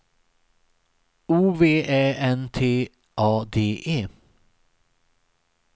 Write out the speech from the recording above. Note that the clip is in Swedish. O V Ä N T A D E